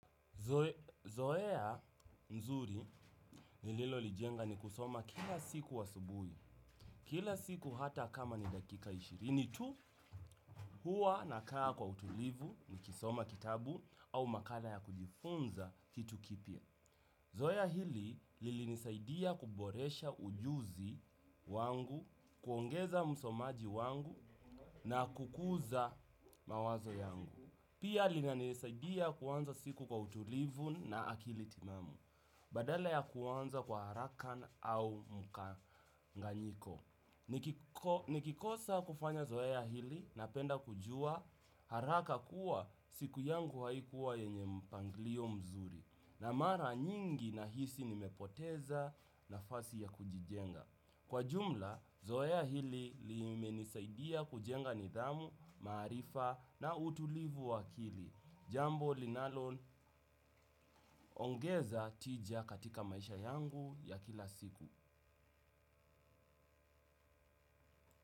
Zoea nzuri nililolijenga ni kusoma kila siku asubuhi, kila siku hata kama ni dakika ishirini tu huwa nakaa kwa utulivu nikisoma kitabu au makala ya kujifunza kitu kipya. Zoea hili lilinisaidia kuboresha ujuzi wangu, kuongeza msomaji wangu na kukuza mawazo yangu. Pia linanisaidia kuanza siku kwa utulivu na akili timamu. Badala ya kuanza kwa haraka au mkanganyiko nikikosa kufanya zoea hili napenda kujua haraka kuwa siku yangu haikuwa yenye mpangilio mzuri. Na mara nyingi nahisi nimepoteza nafasi ya kujijenga. Kwa jumla, zoea hili limenisaidia kujenga nidhamu, maarifa na utulivu wa akili. Jambo linalo ongeza tija katika maisha yangu ya kila siku.